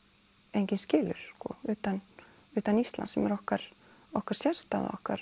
enginn skilur utan utan Íslands sem er okkar okkar sérstaða okkar